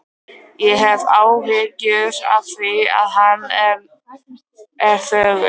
Ég hef áhyggjur af því hvað hann er þögull.